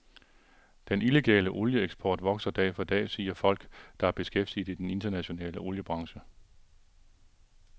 Den illegale olieeksport vokser dag for dag, siger folk, der er beskæftiget i den internationale oliebranche.